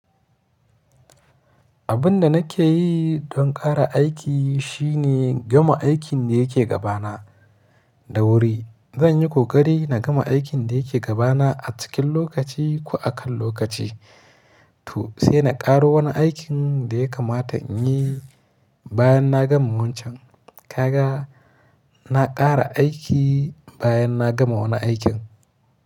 Abin da nake yi don ƙara aiki shine gama aikin da yake gabana da wuri. Zan yi ƙoƙari na gama aikin da yake gabana a cikin lokaci ko a kan lokaci, to sai na ƙaro wani aikin da ya kamata in yi bayan na gama wancan. Ka ga na ƙara aiki bayan na gama wani aikin.